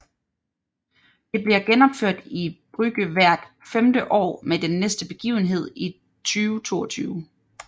Det bliver genopført i Brugge hvert femte år med den næste begivenhed i 2022